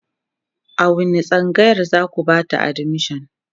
a wani tsangayar zaku Bata admission?